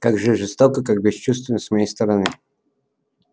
как же жестоко как бесчувственно с моей стороны